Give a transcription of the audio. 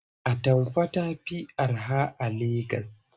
Atamfa ta fi araha a Legas.